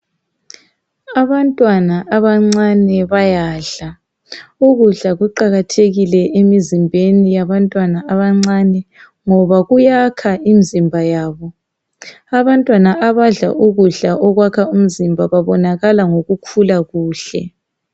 Abantwana abancane bayadla .Ukudla kuqakathekile emzimbeni yabantwana abancane ngoba kuyakha imzimba yabo .Abantwana abadla ukudla okwakha umzimba babonakala ngokukhula kuhle .